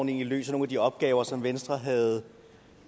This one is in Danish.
egentlig løser nogle af de opgaver som venstre havde